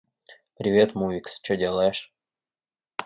привет мувикс что делаешь